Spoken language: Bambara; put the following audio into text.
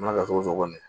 Mana kɛ cogo o cogo